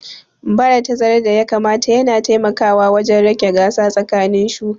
Bada tazarar da ya kamata yana taimakawa wajen rage gasa tsakanin shuka